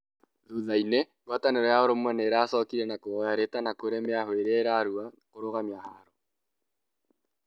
thutha-inĩ ngwatanĩro ya ũrũmwe nĩiracokirie na kuhoya rĩtana kũrĩ mĩahũ yerĩ ĩrĩa ĩrarũa kũrũgamia haaro